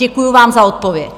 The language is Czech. Děkuju vám za odpověď.